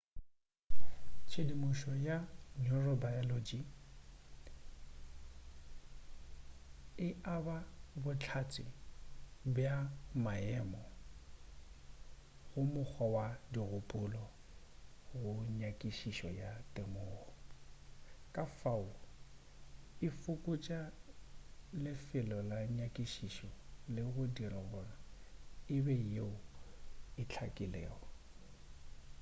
tshedimušo ya neurobiology e aba bohlatse bja maemo go mokgwa wa dikgopolo go nyakišišo ya temogo ka fao e fokotša lefelo la nyakišišo le go e dira gore e be yeo e hlakilego